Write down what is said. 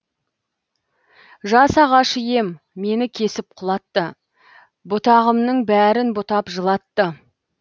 жас ағаш ем мені кесіп құлатты бұтағымның бәрін бұтап жылатты